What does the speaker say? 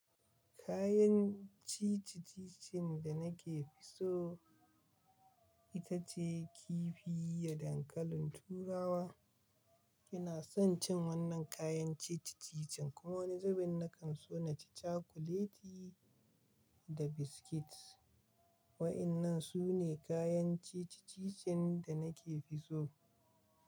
Kayan ciciki cikinda nake so ita ce kifi da dankalin turawa. Ina son cin wannan kayan cicikicin kowani zubin na kan so naci cakuleti da biskit. Waɗannan su ne kayan ciccice-ciccen da nake fi so.